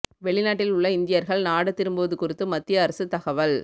வெளிநாட்டில் உள்ள இந்தியர்கள் நாடு திரும்புவது குறித்து மத்திய அரசு தகவல்